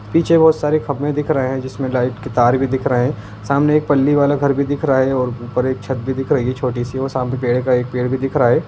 पीछे बहुत सारी खंभे दिख रहे हैं जिसमें लाइट के तार भी दिख रहे हैं सामने पल्ले वाला घर भी दिख रहा है और ऊपर एक छत भी दिख रही है छोटी सी और सामने पेड़ कई पेड़ भी दिख रहा है।